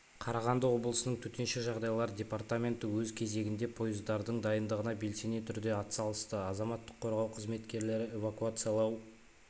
қарағанды облысының төтенше жағдайлар департаменті өз кезегінде пойыздардың дайындығына белсене түрде атсалысты азаматтық қорғау қызметкерлері эвакуациялау